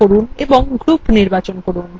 ডান click করুন এবং group নির্বাচন করুন